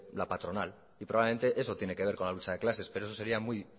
la patronal y probablemente eso tiene que ver con la lucha de clases pero eso sería muy